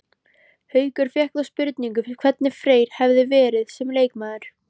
Haukur fékk þá spurningu hvernig Freyr hefði verið sem leikmaður?